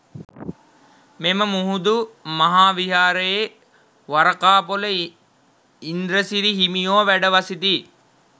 මෙම මුහුදු මහා විහාරයේ වරකාපොල ඉන්ද්‍රසිරි හිමියෝ වැඩ වසති.